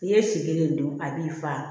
N'i ye si kelen dun a b'i fa